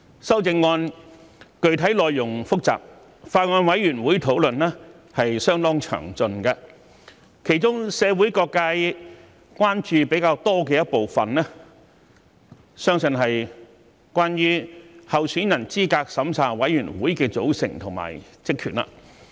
修正案具體內容複雜，法案委員會的討論相當詳盡，其中社會各界關注比較多的部分，相信是關於香港特別行政區候選人資格審查委員會的組成及職權。